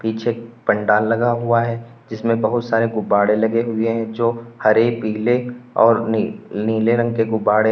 पीछे एक पंडाल लगा हुआ है जिसमें बहुत सारे गुब्बारे लगे हुए हैं जो हरे पीले और नीले रंग के गुब्बारे हैं।